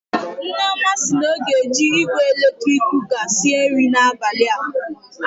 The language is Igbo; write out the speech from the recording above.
Nneoma si na ọ ga-eji igwe eletrik kụka sịe nri n'abalị a.